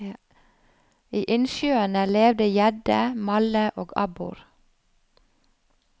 I innsjøene levde gjedde, malle og abbor.